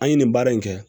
An ye nin baara in kɛ